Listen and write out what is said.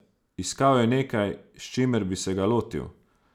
Iskal je nekaj, s čimer bi se ga lotil.